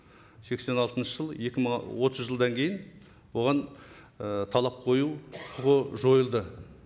сексен алтыншы жыл екі мың отыз жылдан кейін оған і талап қою құқы жойылды